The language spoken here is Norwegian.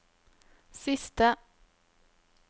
siste